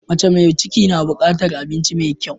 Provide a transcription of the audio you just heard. Mace mai ciki na bukatar abinci mai kyau.